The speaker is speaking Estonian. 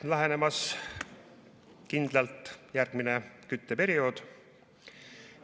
On lähenemas kindlalt järgmine kütteperiood.